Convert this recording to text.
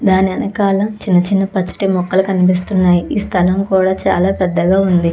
దాని వెనకాల చిన్న చిన్న పచ్చటి మొక్కలు కనిపిస్తున్నాయి ఈ స్థలం కూడా చాల పెద్దగా వుంది.